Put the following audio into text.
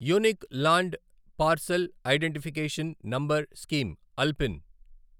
unique land parcel identification number scheme ULPIN